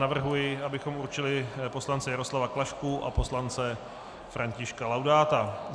Navrhuji, abychom určili poslance Jaroslava Klašku a poslance Františka Laudáta.